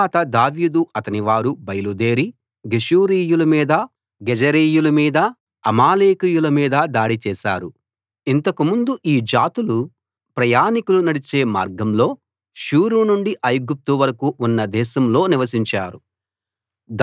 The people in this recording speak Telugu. తరువాత దావీదు అతనివారు బయలుదేరి గెషూరీయుల మీదా గెజెరీయుల మీదా అమాలేకీయుల మీదా దాడి చేశారు ఇంతకుముందు ఈ జాతులు ప్రయాణికులు నడిచే మార్గంలో షూరు నుండి ఐగుప్తు వరకూ ఉన్న దేశంలో నివసించారు